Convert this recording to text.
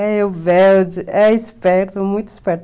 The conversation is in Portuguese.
É o rebelde, é esperto, muito esperto.